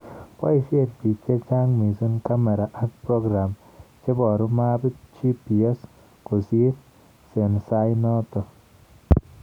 Boishen bik chechang missing kamera ak program cheboru mapit ,GPS Kosir sensai noton.